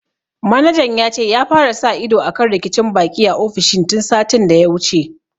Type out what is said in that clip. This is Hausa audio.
Manajan ya ce ya fara sa ido akan rikicin baƙi a ofishin tun satin da ya wuce